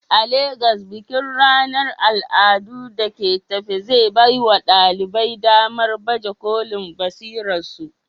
A Legas, bikin ranar al'adu da ke tafe zai baiwa ɗalibai damar baje kolin basirarsu.